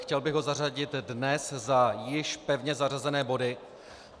Chtěl bych ho zařadit dnes za již pevně zařazené body.